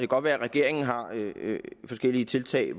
godt være at regeringen har forskellige tiltag